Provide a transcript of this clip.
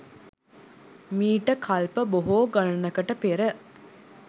මීට කල්ප බොහෝ ගණනකට පෙර